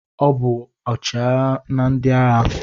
Ọ bụ ọchịagha na ndị agha.